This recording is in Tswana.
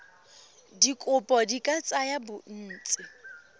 dikopo di ka tsaya bontsi